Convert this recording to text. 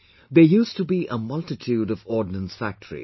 There used to be a multitude of ordnance factories